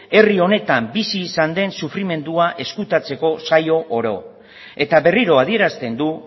herri honetan bizi izan den sufrimendua ezkutatzeko saio oro eta berriro adierazten du